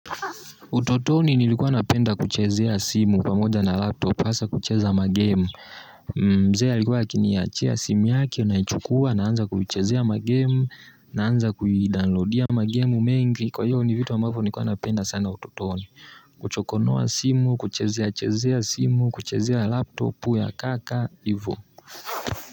Utotoni nilikuwa napenda kuchezea simu pamoja na laptop hasa kucheza ma-game mzee alikuwa akiniachia simu yake naichukua naanza kuchezea ma-game Naanza kudownload ma game mengi kwa hivyo ni vitu ambavyo nilikuwa napenda sana utotoni Kuchokonoa simu, kuchezea chezea simu, kuchezea laptop, ya kaka, hivo.